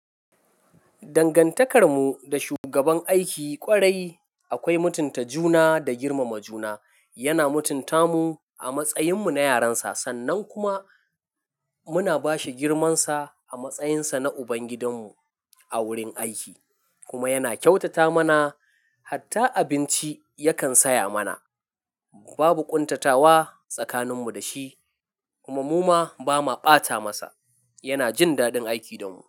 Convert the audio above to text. Dangantakar mu da shugaban aiki kwarai akwai mutunta juna da girmama juna. Yana mutunta mu a matsayin mu na yaran sa sannan kuma muna ba shi girmansa a matsayinsa na ubangidan mu a wurin aiki kuma yana kyautata mana, hatta abinci yakan saya mana. Babu ƙuntatawa tsakanin mu da shi kuma mu ma ba ma ɓata masa. Yana jin daɗin aiki da mu.